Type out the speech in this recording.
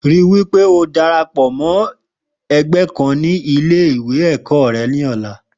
Rí wí pé o darapọ̀ mọ́ ẹgbẹ́ kan ní Ilé-ẹ̀kọ́ rẹ lọ́la.